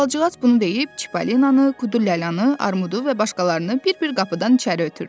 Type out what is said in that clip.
Albalıcıqaz bunu deyib Çippolinanı, Kudul Ləlanı, Armudu və başqalarını bir-bir qapıdan içəri ötürdü.